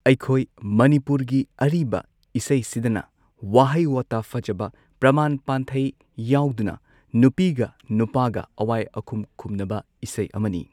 ꯑꯩꯈꯣꯏ ꯃꯅꯤꯄꯨꯔꯒꯤ ꯑꯔꯤꯕ ꯏꯁꯩꯁꯤꯗꯅ ꯋꯥꯍꯩ ꯋꯥꯇꯥ ꯐꯖꯕ ꯄ꯭ꯔꯃꯥꯟ ꯄꯥꯟꯊꯩ ꯌꯥꯎꯗꯨꯅ ꯅꯨꯄꯤꯒ ꯅꯨꯄꯥꯒ ꯑꯋꯥꯏ ꯑꯈꯨꯝ ꯈꯨꯝꯅꯕ ꯏꯁꯩ ꯑꯃꯅꯤ꯫